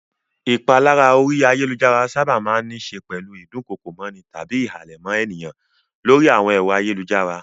Ìpalára orí ayálujára sábà máa ń níṣe pẹ̀lú ìdunkokomọ́ni tàbí ìhàlẹ̀ mọ́ ènìyàn lórí àwọn ẹ̀rọ ayélujára.